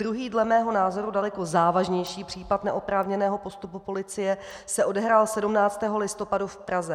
Druhý, dle mého názoru, daleko závažnější případ neoprávněného postupu policie se odehrál 17. listopadu v Praze.